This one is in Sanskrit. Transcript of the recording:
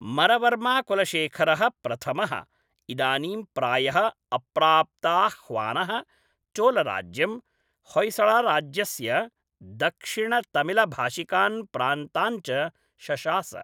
मरवर्माकुलशेखरः प्रथमः, इदानीं प्रायः अप्राप्ताह्वानः, चोलराज्यं, होय्सळराज्यस्य दक्षिणतमिलभाषिकान् प्रान्तान् च शशास।